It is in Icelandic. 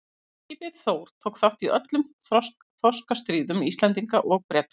Varðskipið Þór tók þátt í öllum þorskastríðum Íslendinga og Breta.